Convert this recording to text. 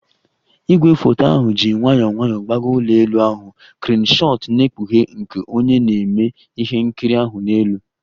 Igwefoto ahụ ji nwayọọ nwayọọ gbagoo ụlọ elu ahụ, kreenu shot na-ekpughe nke onye na-eme ihe nkiri ahụ n'elu